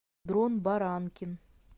дрон баранкин